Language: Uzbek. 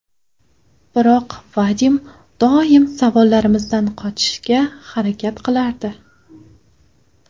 Biroq Vadim doim savollarimizdan qochishga harakat qilardi.